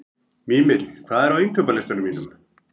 Mímir, hvað er á innkaupalistanum mínum?